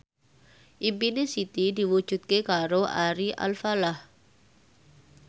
impine Siti diwujudke karo Ari Alfalah